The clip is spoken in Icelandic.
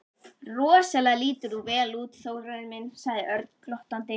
Rosalega lítur þú vel út, Þórarinn minn sagði Örn glottandi.